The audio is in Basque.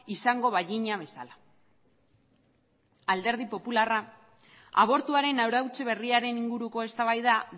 izango bagina bezala alderdi popularra abortuaren arautze berriaren inguruko eztabaida